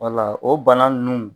o bana ninnu.